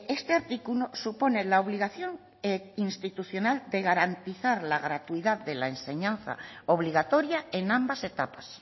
este artículo supone la obligación institucional de garantizar la gratuidad de la enseñanza obligatoria en ambas etapas